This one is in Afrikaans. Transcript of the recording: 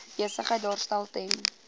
besigheid daarstel ten